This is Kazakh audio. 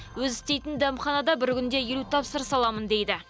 өзі істейтін дәмханада бір күнде елу тапсырыс аламын дейді